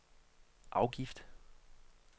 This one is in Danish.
afgift